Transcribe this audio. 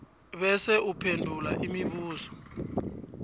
bese uphendula imibuzo